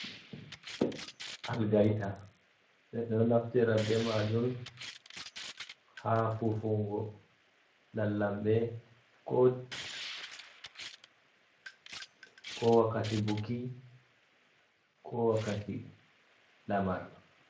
"Algaita" ɓeɗo naftira be majum ha fufungo lallamɓe ko wakkati buki ko wakkati lamar.